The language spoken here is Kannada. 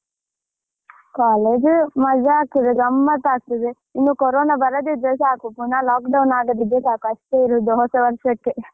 ಕಾಲೇಜು ಮಜಾ ಆಗ್ತದೆ ಗಮ್ಮತ್ತಾಗ್ತದೆ. ಇನ್ನು ಕೊರೋನ ಬರದಿದ್ರೆ ಸಾಕು ಪುನಃ lock down ಆಗದಿದ್ರೆ ಸಾಕು ಅಷ್ಟೇ ಇರುದು ಹೊಸ ವರ್ಷಕ್ಕೆ